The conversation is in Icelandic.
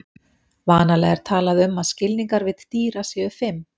Vanalega er talað um að skilningarvit dýra séu fimm.